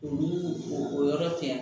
Olu o yɔrɔ tɛ yan